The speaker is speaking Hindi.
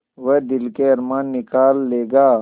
वह दिल के अरमान निकाल लेगा